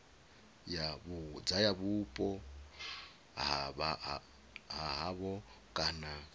ya vhupo ha havho kana